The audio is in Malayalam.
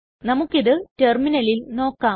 നമുക്കിത് ടെർമിനലിൽ നോക്കാം